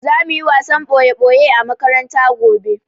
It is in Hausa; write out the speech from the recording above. Za muyi wasan ɓoye-ɓoye a makaranta gobe